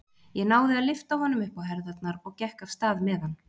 Ég náði að lyfta honum upp á herðarnar og gekk af stað með hann.